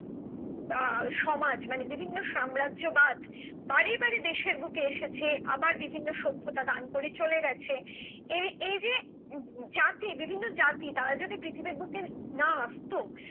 আহ সমাজ মানে বিভিন্ন সাম্রাজ্য বাদ বারে বারে দেশের মুখে এসেছে আবার বিভিন্ন সভ্যতা দান করে চলে গেছে এর এই যে যাতে বিভিন্ন জাতির তারা যদি পৃথিবীর বুকে না আসতো